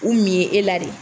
U min e la de.